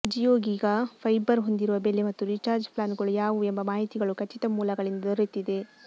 Jio giga fibre ಹೊಂದಿರುವ ಬೆಲೆ ಮತ್ತು ರೀಚಾರ್ಜ್ ಪ್ಲಾನ್ಗಳು ಯಾವುವು ಎಂಬ ಮಾಹಿತಿಗಳು ಖಚಿತ ಮೂಲಗಳಿಂದ ದೊರೆತಿದೆ